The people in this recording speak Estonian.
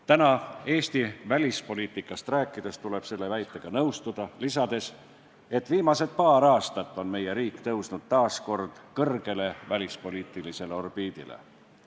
Täna Eesti välispoliitikast rääkides tuleb selle väitega nõustuda, lisades, et viimased paar aastat on meie riik tõusnud taas kord kõrgele välispoliitilisele orbiidile.